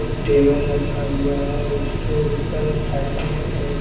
एक टेबल रखा हुआ है उसके ऊपर साइड में ए--